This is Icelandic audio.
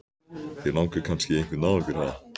Þig langar kannski í einhvern af okkur, ha?